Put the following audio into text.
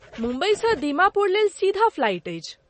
मुम्बईसँ दीमापुर लेल सीधा फ्लाइट अछि।